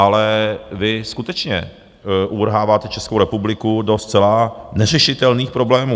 Ale vy skutečně uvrháváte Českou republiku do zcela neřešitelných problémů.